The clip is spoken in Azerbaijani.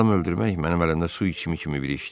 Adam öldürmək mənim əlimdə su içimi kimi bir işdir.